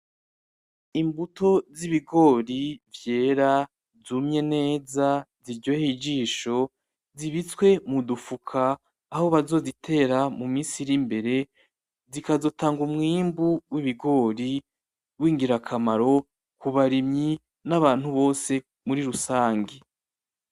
Imbuto z'ibigori vyera, zumye neza, ziryoheye ijisho, zibitswe mu dufuka aho bazozitera mu minsi iri imbere, zikazotanga umwimbu w'ibigori w'ingirakamaro ku barimyi n'abantu bose muri rusangi.